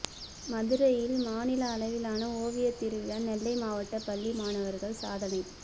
மதுரையில் மாநில அளவிலான ஓவிய திருவிழா நெல்லை மாவட்ட பள்ளி மாணவர்கள் சாதனை